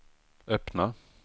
öppna